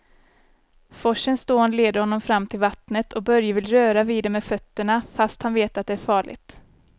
Forsens dån leder honom fram till vattnet och Börje vill röra vid det med fötterna, fast han vet att det är farligt.